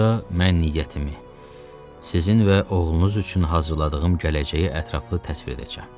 Burada mən niyyətimi, sizin və oğlunuz üçün hazırladığım gələcəyi ətraflı təsvir edəcəyəm.